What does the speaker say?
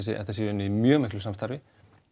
þetta sé unnið í mjög miklu samstarfi